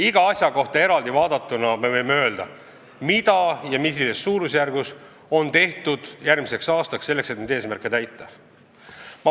Iga asja kohta eraldi võime öelda, mida ja millises mahus on tehtud, et neid eesmärke tuleval aastal täita.